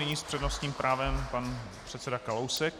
Nyní s přednostním právem pan předseda Kalousek.